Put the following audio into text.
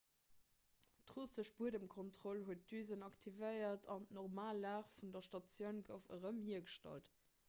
d'russesch buedemkontroll huet d'düsen aktivéiert an d'normal lag vun der statioun gouf erëm hiergestallt